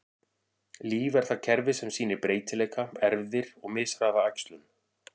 Líf er það kerfi sem sýnir breytileika, erfðir, og mishraða æxlun.